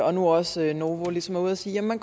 og nu også novo ligesom er ude at sige at man